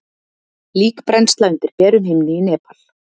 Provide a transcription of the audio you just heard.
Líkbrennsla undir berum himni í Nepal.